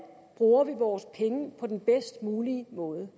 bruger vores penge på den bedst mulige måde